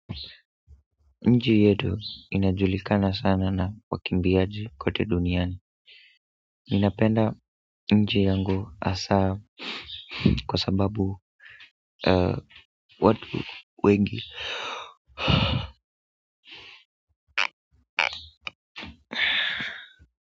Nchi yetu inajulikana sana na wakimbiaji kote duniani ninapenda nchi yangu hasa kwa sababu watu wengi.